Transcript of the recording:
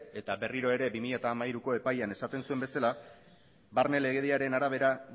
eta berriro ere bi mila hamairuko epailean esaten zuen bezala barne legediaren arabera